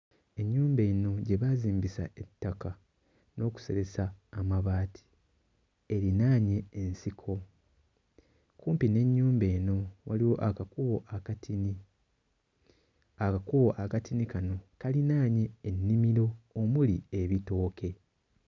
Ennyumba eno gye baazimbisa ettaka n'okuseresa amabaati erinaanye ensiko. Kumpi n'ennyumba eno waliwo akakubo akatini. Akakubo akatini kano kalinaanye ennimiro omuli ebitooke.